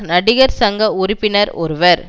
நடிகர் சங்க உறுப்பினர் ஒருவர்